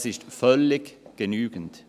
…]» Dies ist völlig genügend.